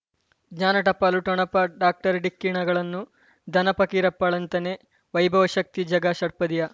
ಜ್ಞಾನ ಟಪಾಲು ಠೊಣಪ ಡಾಕ್ಟರ್ ಢಿಕ್ಕಿ ಣಗಳನು ಧನ ಫಕೀರಪ್ಪ ಳಂತಾನೆ ವೈಭವ್ ಶಕ್ತಿ ಝಗಾ ಷಟ್ಪದಿಯ